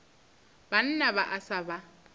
banna ba a sa ba